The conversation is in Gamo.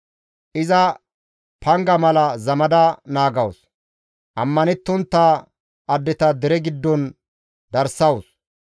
Iza panga mala zamada naagawus; ammanettontta addeta dere giddon darsawus.